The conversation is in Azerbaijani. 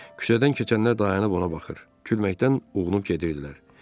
Küçədən keçənlər dayanıb ona baxır, gülməkdən uğunub gedirdilər.